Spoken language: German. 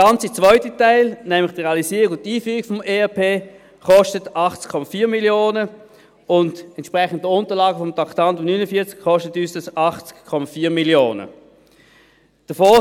Der ganze zweite Teil, nämlich die Realisierung und Einführung von ERP, kostet uns gemäss Unterlagen zu Traktandum 49 80,4 Mio. Franken.